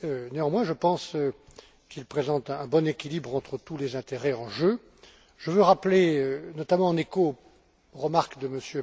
Néanmoins, je pense qu'il présente un bon équilibre entre tous les intérêts en jeu. Je veux rappeler, notamment en écho aux remarques de M.